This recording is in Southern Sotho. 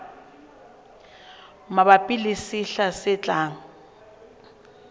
mabapi le sehla se tlang